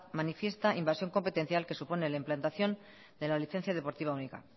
manifiesta invasión competencial que supone la implantación de la licencia deportiva única